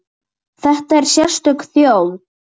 Þetta er sérstök þjóð.